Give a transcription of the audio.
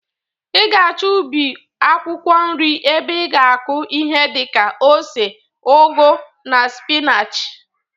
Ị ga-achọ ubi akwụkwọ nri ebe ị ga-akụ ihi dị ka ose, ụgụ na spịnachị.